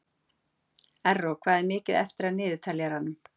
Erró, hvað er mikið eftir af niðurteljaranum?